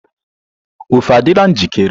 ofe adịla njikere?